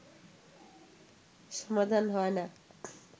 সমাধান হয় না